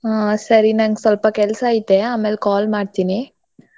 ಹಾ ಸರಿ ನಂಗ್ ಸ್ವಲ್ಪ ಕೆಲ್ಸ ಐತೆ ಆಮೇಲ್ call ಮಾಡ್ತೀನಿ.